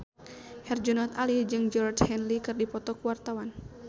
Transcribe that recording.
Herjunot Ali jeung Georgie Henley keur dipoto ku wartawan